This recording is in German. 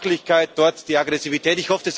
Hier die Sachlichkeit, dort die Aggressivität.